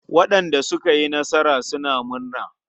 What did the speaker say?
Waɗanda suka yi nasara suna murna.